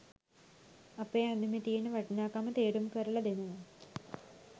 අපේ ඇඳුමේ තියෙන වටිනාකම තේරුම් කරලා දෙනවා.